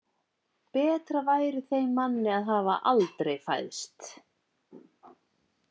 Betra væri þeim manni að hafa aldrei fæðst.